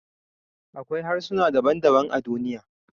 Akwai harsuna daban-daban a duniya